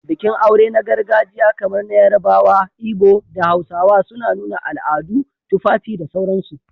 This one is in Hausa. Bikin aure na gargajiya kamar na Yarabawa, Ibo, da Hausawa, suna nuna al'adu, tufafi, da sauransu